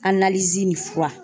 nin fura